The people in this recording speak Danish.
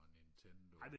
og nintendo